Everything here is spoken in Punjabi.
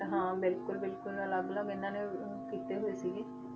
ਹਾਂ ਬਿਲਕੁਲ ਬਿਲਕੁਲ ਅਲੱਗ ਅਲੱਗ ਇਹਨਾਂ ਨੇ ਅਹ ਕੀਤੇ ਹੋਏ ਸੀਗੇ,